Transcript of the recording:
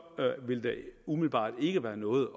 ville der umiddelbart ikke være noget